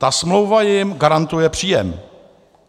Ta smlouva jim garantuje příjem.